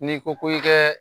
N'i ko ko i kɛ